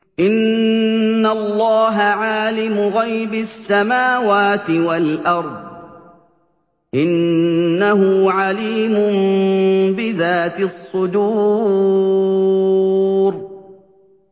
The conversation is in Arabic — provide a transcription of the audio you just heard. إِنَّ اللَّهَ عَالِمُ غَيْبِ السَّمَاوَاتِ وَالْأَرْضِ ۚ إِنَّهُ عَلِيمٌ بِذَاتِ الصُّدُورِ